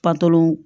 Panpolon